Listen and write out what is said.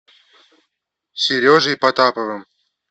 сережей потаповым